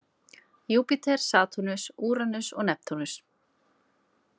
Júpíter, Satúrnus, Úranus og Neptúnus.